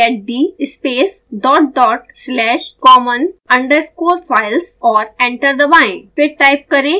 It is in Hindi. टाइप करें: get d space dot dot slash common underscore files और एंटर दबाएँ